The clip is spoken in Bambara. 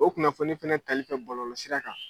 O kunnafoni fana tali fɛ bɔlɔlɔsira kan